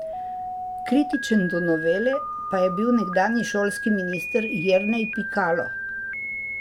Kritičen do novele pa je bil nekdanji šolski minister Jernej Pikalo.